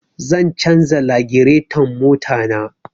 Zan canja lagireton mota na